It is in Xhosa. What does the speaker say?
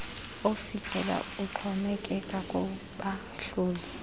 ofikelelwayo uxhomekeka kubahloli